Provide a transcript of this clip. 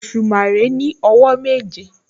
Òṣùmàrè ní àwọ̀ méje